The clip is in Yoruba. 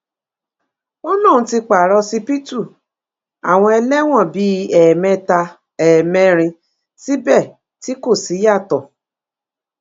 ó lóun ti pààrà ọsibítù àwọn ẹlẹ́wọ̀n bíi ẹ̀ẹ̀mẹta ẹ̀ẹ̀mẹrin síbẹ̀ tí kò síyàtọ̀